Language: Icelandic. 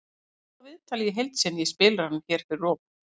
Horfðu á viðtalið í heild sinni í spilaranum hér fyrir ofan.